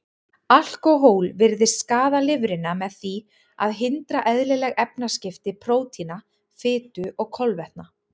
Alkóhól virðist skaða lifrina með því að hindra eðlileg efnaskipti prótína, fitu og kolvetna.